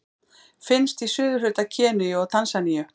Finnst í suðurhluta Keníu og Tansaníu.